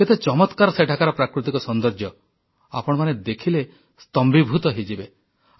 କେତେ ଚମତ୍କାର ସେଠାକାର ପ୍ରାକୃତିକ ସୌନ୍ଦର୍ଯ୍ୟ ଆପଣମାନେ ଦେଖିଲେ ସ୍ତମ୍ଭୀଭୂତ ହୋଇଯିବେ